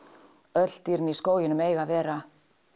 öll dýrin í skóginum eiga að vera